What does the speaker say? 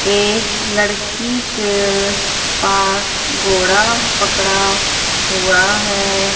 एक लड़की के पास घोड़ा पकड़ा हुआ है।